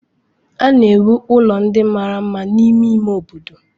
A na-ewu ụlọ ndị mara mma n'ime ime obodo.